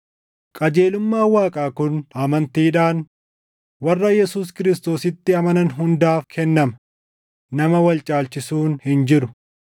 Qajeelummaan Waaqaa kun amantiidhaan warra Yesuus Kiristoositti amanan hundaaf kennama; nama wal caalchisuun hin jiru;